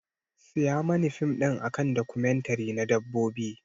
Siya mani fim a kan documentary na Dabbobi.